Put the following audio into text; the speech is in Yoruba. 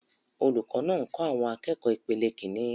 Olùkọ́ náà ń kọ́ àwọn akẹ́kọ̀ọ́ ìpele Kínní.